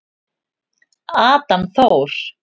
Adam Þór.